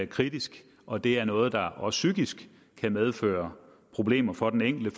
kritisk og det er noget der også psykisk kan medføre problemer for den enkelte